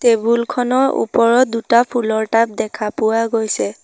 Table খনৰ ওপৰত দুটা ফুলৰ টাব দেখা পোৱা গৈছে।